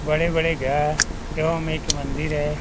बड़े-बड़े घर एक घर मंदिर है।